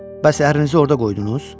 Bəs ərinizi orda qoydunuz?